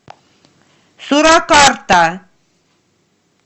суракарта